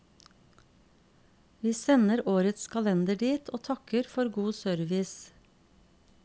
Vi sender årets kalender dit, og takker for god service.